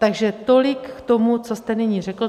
Takže tolik k tomu, co jste nyní řekl.